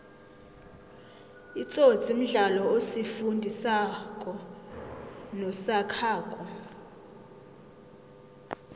itsotsi mdlalo osifundi sako nosakhako